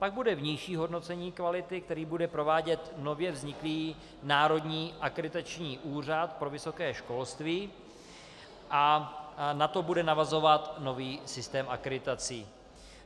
Pak bude vnější hodnocení kvality, které bude provádět nově vzniklý Národní akreditační úřad pro vysoké školství, a na to bude navazovat nový systém akreditací.